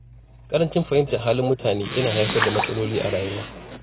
Ƙarancin fahimtar halin mutane yana haifar da matsaloli a rayuwa.